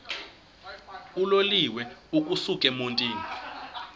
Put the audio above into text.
uloliwe ukusuk emontini